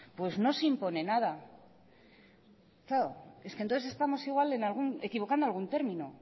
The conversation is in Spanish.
no se impone nada claro es que entonces igual estamos equivocando algún término